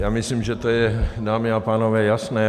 Já myslím, že to je, dámy a pánové, jasné.